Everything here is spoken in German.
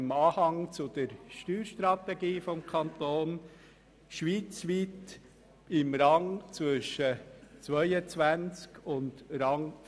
Im Anhang zur Steuerstrategie des Kantons gibt es diesbezügliche Angaben.